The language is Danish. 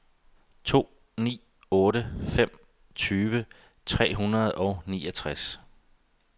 to ni otte fem tyve tre hundrede og niogtres